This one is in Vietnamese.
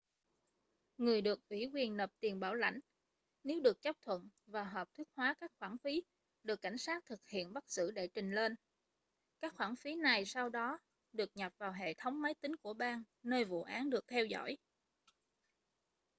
người được ủy quyền nộp tiền bảo lãnh nếu được chấp thuận và hợp thức hóa các khoản phí được cảnh sát thực hiện bắt giữ đệ trình lên các khoản phí này sau đó được nhập vào hệ thống máy tính của bang nơi vụ án được theo dõi